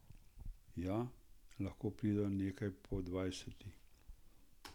Ja, lahko prideva nekaj po dvanajsti.